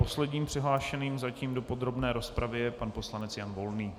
Posledním přihlášeným zatím do podrobné rozpravy je pan poslanec Jan Volný.